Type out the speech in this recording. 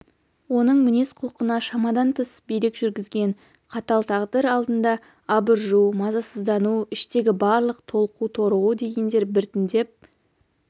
оның мінез-құлқына шамадан тыс билік жүргізген қатал тағдыр алдында абыржу мазасыздану іштегі барлық толқу-торығу дегендер біртіндеп